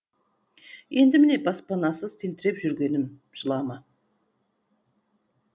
енді міне баспанасыз тентіреп жүргенім жылама